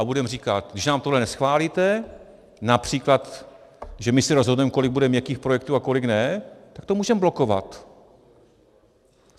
A budeme říkat, když nám tohle neschválíte, například, že my si rozhodneme, kolik bude měkkých projektů a kolik ne, tak to můžeme blokovat.